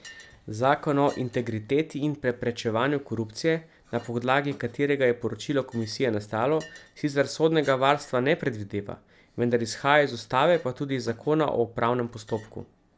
Zakon o integriteti in preprečevanju korupcije, na podlagi katerega je poročilo komisije nastalo, sicer sodnega varstva ne predvideva, vendar izhaja iz ustave pa tudi iz zakona o upravnem postopku.